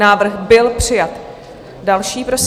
Návrh byl přijat. Další, prosím.